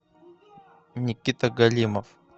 никита голимов